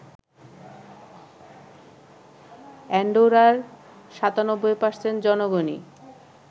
অ্যান্ডোরার ৯৭% জনগণই